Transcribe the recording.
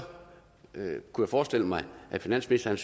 kunne jeg forestille mig at finansministeren